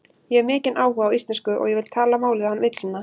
Ég hef mikinn áhuga á íslensku og ég vil tala málið án villna.